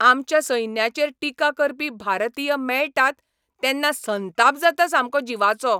आमच्या सैन्याचेर टिका करपी भारतीय मेळटात तेन्ना संताप जाता सामको जिवाचो.